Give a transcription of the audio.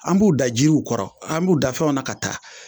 An b'u da jiriw kɔrɔ an b'u da fɛnw na ka taa